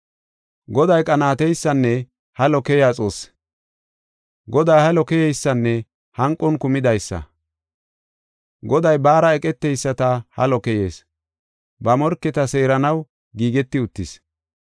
Goday qanaateysanne halo keyiya Xoossi; Goday halo keyeysanne hanqon kumidaysa. Goday baara eqeteyisata halo keyees; ba morketa seeranaw giigeti uttis.